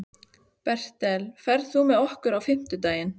Bertel, ferð þú með okkur á fimmtudaginn?